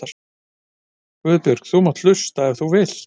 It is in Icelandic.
Guðbjörg þú mátt hlusta ef þú vilt.